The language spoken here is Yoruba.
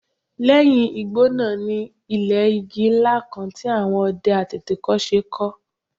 Lẹ́yìn igbó náà ni ilé igi ńlá kan tí àwọn ọdẹ àtètèkọ́ṣe kọ́